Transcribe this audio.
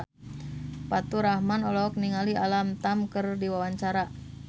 Faturrahman olohok ningali Alam Tam keur diwawancara